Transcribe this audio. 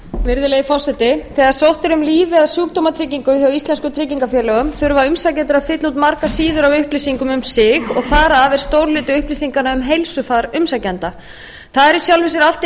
virðulegi forseti þegar sótt er um líf eða sjúkdómatryggingu hjá íslenskum tryggingafélögum þurfa umsækjendur að fylla út margar síður af upplýsingum um sig og þar af er stór hluti upplýsinganna um heilsufar umsækjanda það er í sjálfu sér allt í